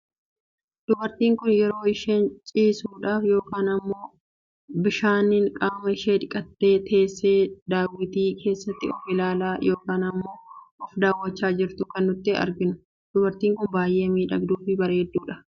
Dubartiin Kun yeroo isheen ciisuudhaaf yookaan immoo bishaaniin qaama ishee dhiqattee, teessee daawwitii keessatti of ilaalaa yookaan immoo of dawwachaa jirtu kan nuti arginu. Dubartiin Kun baayyee miidhagduu fi bareedudha.